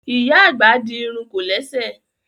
Ìyá àgbà di irun kòlẹ́sẹ̀